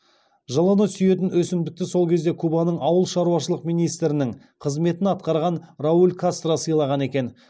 жылыны сүйетін өсімдікті сол кезде кубаның ауыл шаруашылығы министрінің қызметін атқарған рауль кастро сыйлаған екен